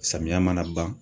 Samiya mana ban.